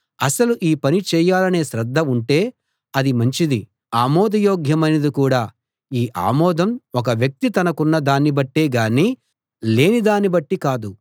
అసలు ఈ పని చేయాలనే శ్రద్ధ ఉంటే అది మంచిదీ ఆమోదయోగ్యమైనది కూడా ఈ ఆమోదం ఒక వ్యక్తి తనకున్న దాన్ని బట్టే గానీ లేని దాన్ని బట్టి కాదు